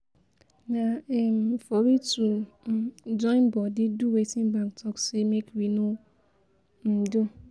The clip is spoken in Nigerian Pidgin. na um for we to um follow join bodi do wetin bank tok say make we no um do